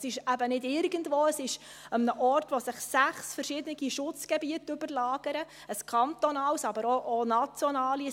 Es ist eben nicht irgendwo, sondern an einem Ort, an dem sich sechs verschiedene Schutzgebiete überlagern: ein kantonales, aber auch nationale.